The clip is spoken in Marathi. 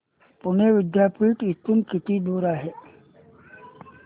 पुणे विद्यापीठ इथून किती दूर आहे